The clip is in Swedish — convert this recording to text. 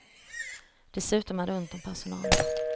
Dessutom är det ont om personal.